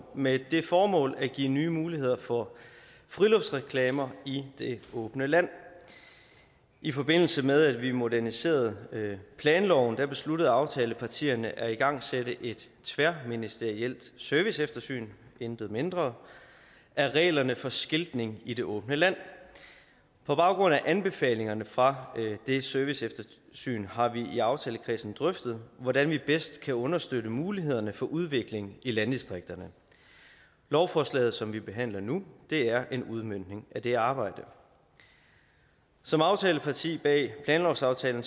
med det formål at give nye muligheder for friluftsreklamer i det åbne land i forbindelse med at vi moderniserede planloven besluttede aftalepartierne at igangsætte et tværministerielt serviceeftersyn intet mindre af reglerne for skiltning i det åbne land på baggrund af anbefalingerne fra det serviceeftersyn har vi i aftalekredsen drøftet hvordan vi bedst kan understøtte mulighederne for udvikling i landdistrikterne lovforslaget som vi behandler nu er en udmøntning af det arbejde som aftaleparti bag planlovsaftalen